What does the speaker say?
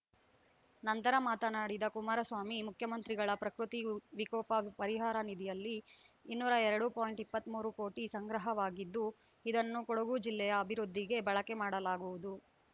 ನಂತರ ಮಾತನಾಡಿದ ಕುಮಾರಸ್ವಾಮಿ ಮುಖ್ಯಮಂತ್ರಿಗಳ ಪ್ರಕೃತಿ ವಿ ವಿಕೋಪ ಪರಿಹಾರ ನಿಧಿಯಲ್ಲಿ ಇನ್ನೂರ ಎರಡು ಪಾಯಿಂಟ್ ಇಪ್ಪತ್ತ್ ಮೂರು ಕೋಟಿ ಸಂಗ್ರಹವಾಗಿದ್ದು ಇದನ್ನು ಕೊಡಗು ಜಿಲ್ಲೆಯ ಅಭಿವೃದ್ಧಿಗೆ ಬಳಕೆ ಮಾಡಲಾಗುವುದು